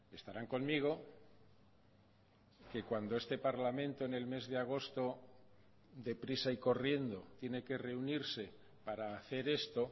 estarán conmigo que cuando este parlamento en el mes de agosto de prisa y corriendo tiene que reunirse para hacer esto